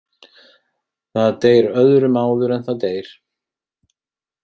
Það deyr öðrum áður en það deyr.